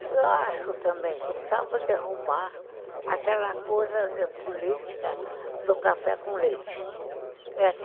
Eu acho também que precisava derrubar aquela coisa de política do café com leite.